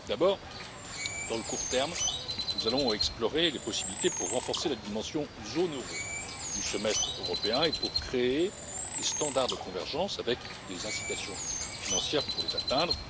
D'abord, à court terme, nous allons explorer les possibilités pour renforcer la dimension zone euro du Semestre européen et créer des critères de convergence avec des incitations financières pour les atteindre.